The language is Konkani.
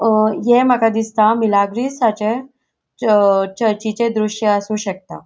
अ हे माका दिसता मिलग्रेसाचे च चर्चीचे दृश्य आसू शकता.